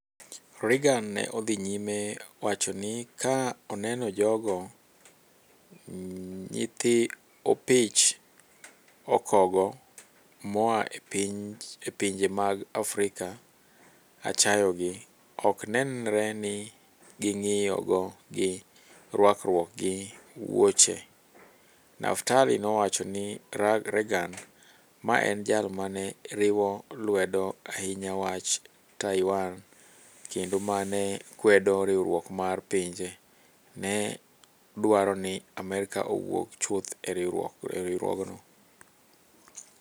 "Reagan ne odhi nyime wacho ni, Ka aneno jogo, nyithi opich okogo moa e pinje mag Afrika - achayogi, ok nenre ni ging'iyo gi rwakruok gi wuoche! Naftali nowacho ni Reagan - ma en jal ma ne riwo lwedo ahinya wach Taiwan, kendo ma ne kwedo Riwruok mar Pinje - ne dwaro ni Amerka owuog chuth e riwruogno.